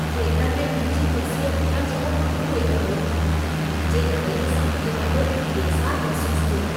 Theatre में मुंहिंजी कुर्सीअ पुठियां जेको माण्हू वेठल हो, उन जे रवैये सां मूंखे ॾाढो बेज़ार महिसूस थियो।